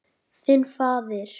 Þinn faðir.